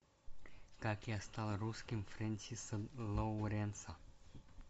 как я стал русским френсиса лоуренса